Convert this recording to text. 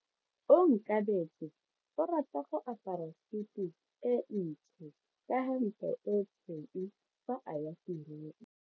Onkabetse o rata go apara sutu e ntsho ka hempe e tshweu fa a ya tirong.